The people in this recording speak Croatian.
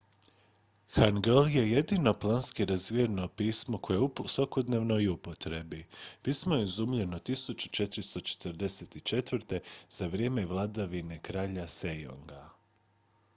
hangeul je jedino planski razvijeno pismo koje je u svakodnevnoj upotrebi. pismo je izumljeno 1444. za vrijeme vladavine kralja sejonga 1418. – 1450.